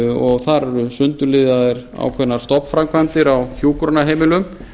og þar eru sundurliðaðar ákveðnar stofnframkvæmdir á hjúkrunarheimilum